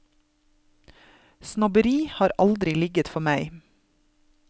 Snobberi har aldri ligget for meg.